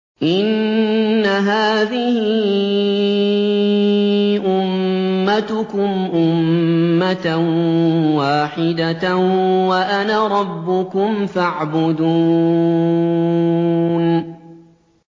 إِنَّ هَٰذِهِ أُمَّتُكُمْ أُمَّةً وَاحِدَةً وَأَنَا رَبُّكُمْ فَاعْبُدُونِ